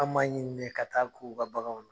An b'a ɲini de ka t'a k'u ka baganw na.